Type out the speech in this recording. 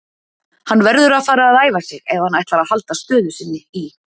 Hann verður að fara að æfa sig ef hann ætlar að halda stöðu sinni í